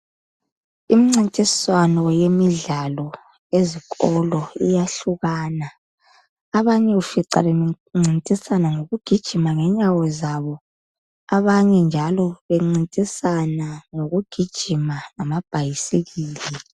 Imncintiswano yemidlalo ezikolo iyahlukana abanye ufica bencintisana ngokugijima ngenyawo zabo abanye njalo bencintisana ngokugijima ngama bhayisikili.